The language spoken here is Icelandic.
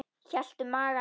Hélt um magann.